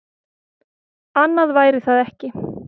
Annað væri það ekki.